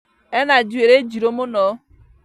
Ena njuirĩ njirũ mũno